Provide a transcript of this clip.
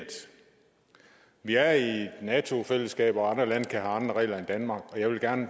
vi er i et nato fællesskab og andre lande kan regler end danmark så jeg vil gerne